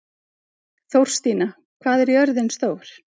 Þórstína, hvað er jörðin stór?